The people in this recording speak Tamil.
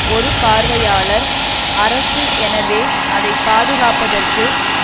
ஒரு பார்வையாளர் அரசு எனவே அதை பாதுகாப்பதற்கு